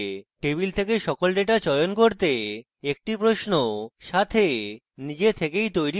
table থেকে সকল data চয়ন করতে একটি প্রশ্ন সাথে নিজে থেকেই তৈরী থাকে